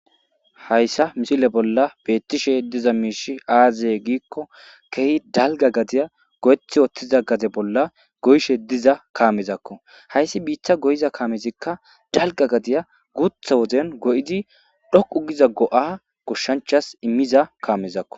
Hayssa misile bolla beeththishee diza miishshi aazee giikko keehi dalgga gadiya goyeththi woththiza gade bolla goyishe diza kaamezakoo;hayssi biiththa goyiza kaamezikka dalgga gadiya guuththa wodiya goyidi dhoqqu giza go7aa goshshanchas immiza kaamezakoo.